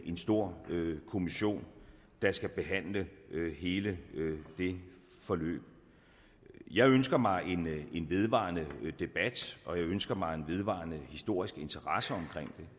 en stor kommission der skal behandle hele det forløb jeg ønsker mig en vedvarende debat og jeg ønsker mig en vedvarende historisk interesse omkring